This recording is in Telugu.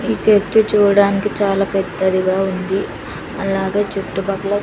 ఈ చెట్టు చూడ్డానికి చాలా పెద్దదిగా ఉంది అలాగే చుట్టుపక్కల--